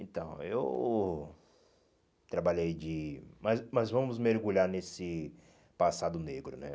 Então, eu trabalhei de... Mas mas vamos mergulhar nesse passado negro, né?